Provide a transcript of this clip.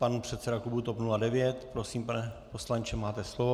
Pan předseda klubu TOP 09. Prosím, pane poslanče, máte slovo.